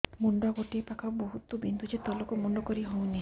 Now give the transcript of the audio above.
ମୁଣ୍ଡ ଗୋଟିଏ ପାଖ ବହୁତୁ ବିନ୍ଧୁଛି ତଳକୁ ମୁଣ୍ଡ କରି ହଉନି